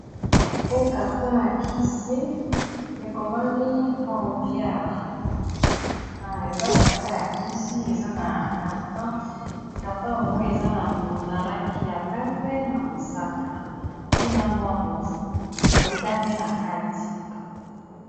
O carton ya kisi ekomami combiaret eza carton ya kisi, eza na carton , carton ya ngo eza na langi , ya pembe na mosaka pe na mwa motane na kati.